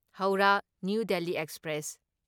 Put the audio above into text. Howrah New Delhi express